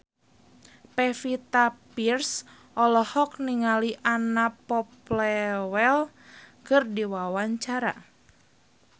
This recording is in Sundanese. Pevita Pearce olohok ningali Anna Popplewell keur diwawancara